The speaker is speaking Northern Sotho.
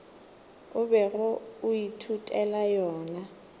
o bego o ithutela yona